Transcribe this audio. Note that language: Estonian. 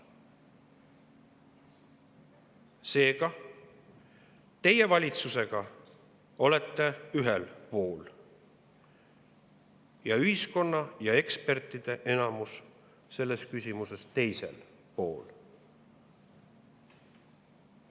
Seega, teie valitsusega olete ühel pool ning ühiskonna ja ekspertide enamus on selles küsimuses teisel pool.